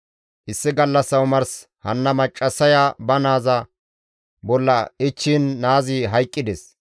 «Issi gallassa omars hanna maccassaya ba naaza bolla ichchiin naazi hayqqides.